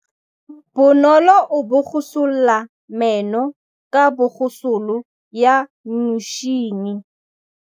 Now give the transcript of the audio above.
Bonolô o borosola meno ka borosolo ya motšhine.